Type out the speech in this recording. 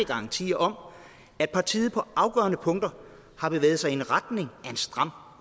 garantier om at partiet på afgørende punkter har bevæget sig i retning af en stram